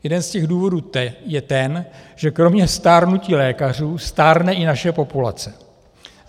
Jeden z těch důvodů je ten, že kromě stárnutí lékařů stárne i naše populace.